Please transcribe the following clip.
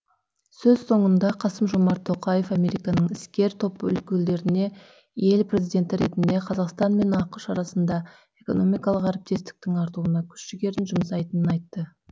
сөз соңында қасым жомарт тоқаев американың іскер топ өкілдеріне ел президенті ретінде қазақстан мен ақш арасындағы экономикалық әріптестіктің артуына күш жігерін жұмсайтынын айтты